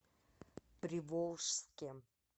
приволжске